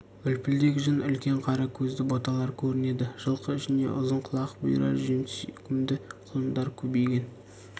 үлпілдек жүн үлкен қара көзді боталар көрінеді жылқы ішінде ұзын құлақ бұйра жүн сүйкімді құлындар көбейген